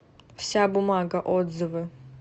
вся бумага отзывы